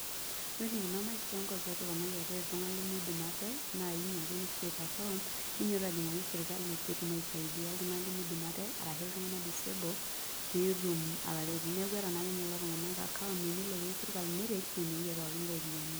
Ore enikuna mikesonko aret ltunganak lemeidim ate na inyo ake ni create account ninyototo ajingaki serkali ltunganak limidim ate ashu ltunganak petum ataretu neaku eeta akenye lolotunganak account pateneyieu serkali neret na inewueji epikakini iropiyiani.